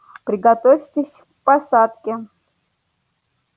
приготовьтесь к посадке